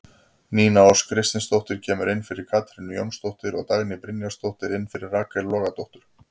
Nína Ósk Kristinsdóttir kemur inn fyrir Katrínu Jónsdóttur og Dagný Brynjarsdóttir inn fyrir Rakel Logadóttur.